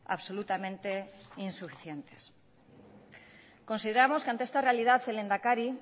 absolutamente insuficientes consideramos que antes esta realidad el lehendakari